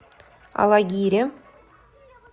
алагире